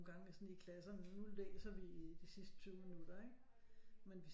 Nogle gange sådan i klasserne nu læser vi de sidste 20 minutter ikke men